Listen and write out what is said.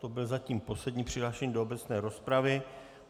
To byl zatím poslední přihlášený do obecné rozpravy.